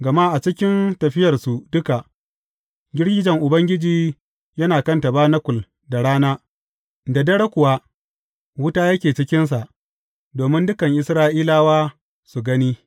Gama a cikin tafiyarsu duka, girgijen Ubangiji yana kan tabanakul da rana, da dare kuwa wuta yake cikinsa domin dukan Isra’ilawa su gani.